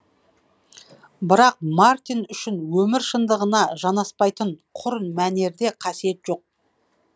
бірақ мартин үшін өмір шындығына жанаспайтын құр мәнерде қасиет жоқ